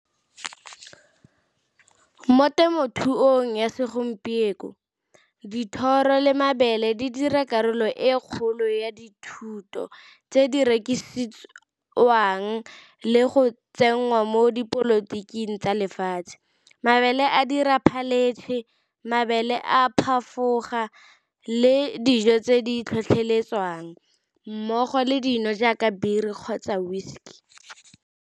Mo temothuong ya segompieno dithoro le mabele di dira karolo e kgolo ya dithuto tse di rekisiwang le go tsenngwa mo dipolotiking tsa lefatshe. Mabele a dira phaletšhe, mabele a le dijo tse di tlhotlheletswang mmogo le dino jaaka biri kgotsa whiskey.